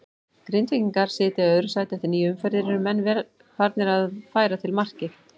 Grindvíkingar sitja í öðru sæti eftir níu umferðir, eru menn farnir að færa til markmið?